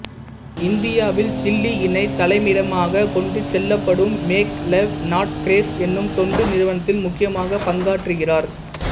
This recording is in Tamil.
இந்தியாவில்தில்லியினைத் தலைமையிடமாகக் கொண்டு செயல்படும் மேக் லவ் நாட் ஸ்கேர்ஸ் எனும் தொண்டு நிறுவனத்தில் முக்கிய பங்காற்றுகிறார்